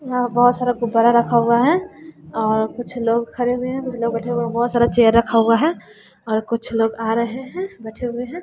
यहां बहोत सारा गुब्बारा रखा हुआ है और कुछ लोग खरे हुए हैं कुछ लोग बैठे हुए हैं बहोत सारा चेयर रखा हुआ है और कुछ लोग आ रहे हैं बैठे हुए हैं।